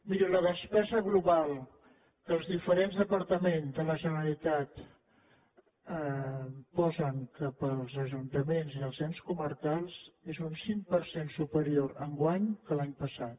miri la despesa global que els diferents departaments de la generalitat posen per als ajuntaments i els ens comarcals és un cinc per cent superior enguany que l’any passat